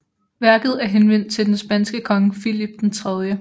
Værket er henvendt til den spanske konge Filip 3